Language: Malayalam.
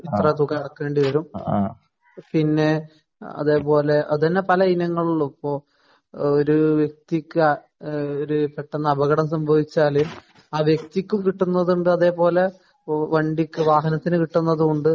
ഇത്ര തുക അടക്കേണ്ടി വരും. പിന്നെ അതേ പോലെ അത് തന്നെ പല ഇനങ്ങളിലും ഇപ്പോ ഒരു വ്യക്തിക്ക് ഒരു പെട്ടെന്ന് അപകടം സംഭവിച്ചാല് ആ വ്യക്തിക്ക് കിട്ടുന്നതുണ്ട് അതേ പോലെ വണ്ടിക്ക് വാഹനത്തിന് കിട്ടുന്നതുമുണ്ട്